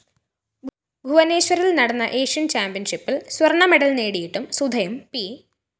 ഭൂവനേശ്വറില്‍ നടന്ന ഏഷ്യന്‍ ചാമ്പ്യന്‍ഷിപ്പില്‍ സ്വര്‍ണമെഡല്‍ നേടിയിട്ടും സുധയും പി